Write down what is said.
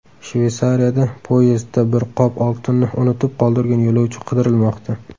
Shveysariyada poyezdda bir qop oltinni unutib qoldirgan yo‘lovchi qidirilmoqda.